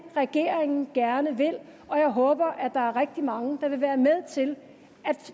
regeringen gerne vil og jeg håber at der er rigtig mange der vil være med til